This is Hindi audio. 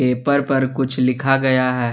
पेपर पर कुछ लिखा गया है।